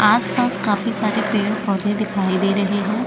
आस - पास काफी सारे पेड़ - पौधे दिखाई दे रहे है।